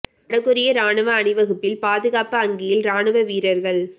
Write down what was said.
வட கொரிய ராணுவ அணிவகுப்பில் பாதுகாப்பு அங்கியில் ராணுவ வீரர்கள்